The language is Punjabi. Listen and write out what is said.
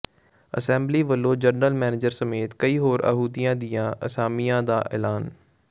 ਐਸਬੀਆਈ ਵੱਲੋਂ ਜਰਨਲ ਮੈਨੇਜਰ ਸਮੇਤ ਕਈ ਹੋਰ ਅਹੁਦਿਆਂ ਦੀਆਂ ਅਸਾਮੀਆਂ ਦਾ ਐਲਾਨ